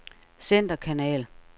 centerkanal